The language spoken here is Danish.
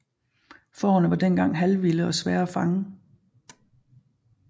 Fårene var dengang halvvilde og svære at fange